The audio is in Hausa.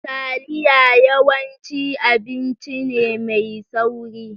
Taliya yawanci abinci ne mai sauri.